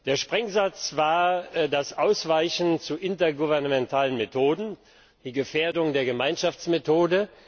Der Sprengsatz war das Ausweichen zu intergouvernementalen Methoden, die Gefährdung der Gemeinschaftsmethode.